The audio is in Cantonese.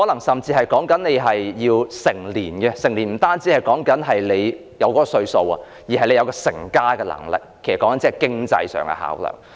所謂"成年"不單指已達到某個歲數，亦須具備成家的能力，這是經濟方面的考量。